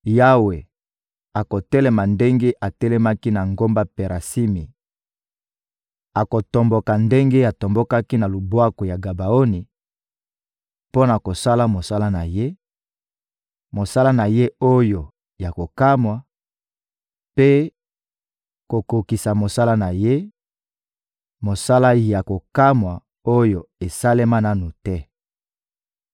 Yawe akotelema ndenge atelemaki na ngomba Perasimi, akotomboka ndenge atombokaki na lubwaku ya Gabaoni mpo na kosala mosala na Ye, mosala na Ye oyo ya kokamwa, mpe kokokisa mosala na Ye, mosala ya kokamwa oyo esalema nanu te.